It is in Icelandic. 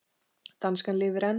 Danskan lifir enn!